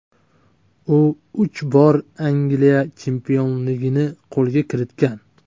U uch bor Angliya chempionligini qo‘lga kiritgan.